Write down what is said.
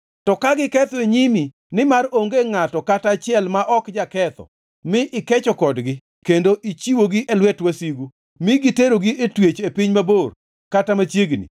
“To ka giketho e nyimi, nimar onge ngʼato kata achiel ma ok jaketho mi ikecho kodgi kendo ichiwogi e lwet wasigu mi giterogi e twech e piny mabor kata machiegni,